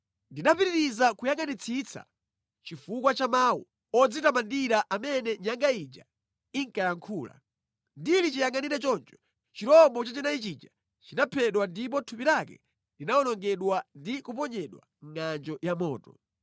“Ndinapitiriza kuyangʼanitsitsa chifukwa cha mawu odzitamandira amene nyanga ija inkayankhula. Ndili chiyangʼanire choncho chirombo chachinayi chija chinaphedwa ndipo thupi lake linawonongedwa ndi kuponyedwa mʼngʼanjo ya moto.